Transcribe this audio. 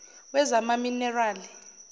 wezamaminerali